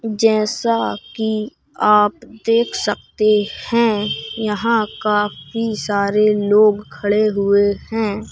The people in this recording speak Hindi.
जैसा कि आप देख सकते हैं यहां काफी सारे लोग खड़े हुए हैं।